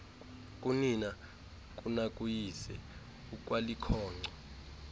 kunina kunakuyise ukwalikhonkco